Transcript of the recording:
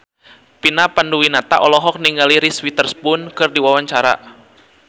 Vina Panduwinata olohok ningali Reese Witherspoon keur diwawancara